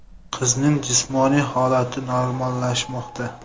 Qizning jismoniy holati normallashmoqda.